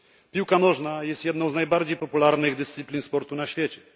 Piłka nożna jest jedną z najbardziej popularnych dyscyplin sportu na świecie.